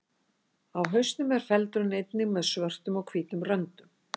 Á hausnum er feldurinn einnig með svörtum og hvítum röndum.